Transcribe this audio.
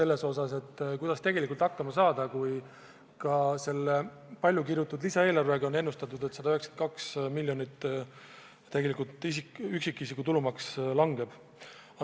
Kuidas ikkagi tegelikult hakkama saada, kui ka selle paljukirutud lisaeelarve puhul on ennustatud, et 192 miljonit üksikisiku tulumaks langeb.